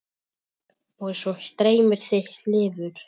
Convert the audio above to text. Og svo dreymir þig lifur!